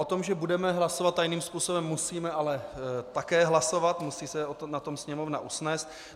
O tom, že budeme hlasovat tajným způsobem, musíme ale také hlasovat, musí se na tom Sněmovna usnést.